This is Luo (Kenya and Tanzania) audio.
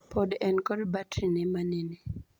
Pod en kod batri ne manene.